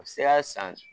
U bɛ se ka san